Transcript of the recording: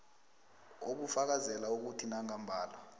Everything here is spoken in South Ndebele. obufakazela ukuthi nangambala